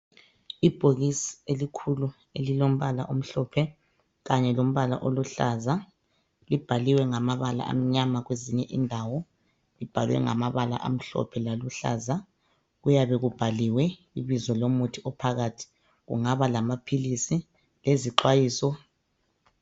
Ibhokisi elikhulu elilombala omhlophe kanye lombala oluhlaza libhaliwe ngamabala amnyama kwezinye indawo. Libhalwe ngamabala amhlophe laluhlaza kuyabe kubhaliwe ibizo lomuthi ophakathi kungaba lamaphilisi lezixwayiso.